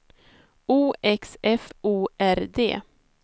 O X F O R D